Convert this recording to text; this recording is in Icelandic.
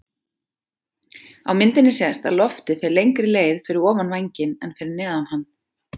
Af myndinni sést að loftið fer lengri leið fyrir ofan vænginn en fyrir neðan hann.